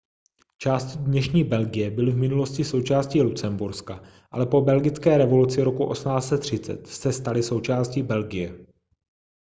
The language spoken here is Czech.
části dnešní belgie byly v minulosti součástí lucemburska ale po belgické revoluci roku 1830 se staly součástí belgie